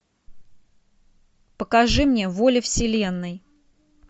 покажи мне воля вселенной